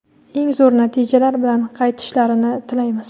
eng zo‘r natijalar bilan qaytishlarini tilaymiz!.